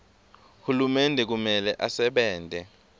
hulumende kumele asebente